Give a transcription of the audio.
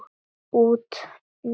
Út núna?